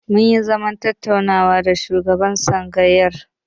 Mun yi zaman tattaunawa da shugaban tsangayar.